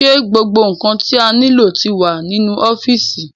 Ṣé gbogbo ǹkan tí a nílò ni ó ti wà nínú ọ́fìsì?